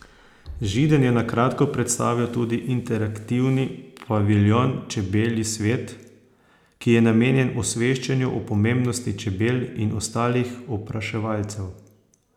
Židan je na kratko predstavil tudi interaktivni paviljon Čebelji svet, ki je namenjen osveščanju o pomembnosti čebel in ostalih opraševalcev.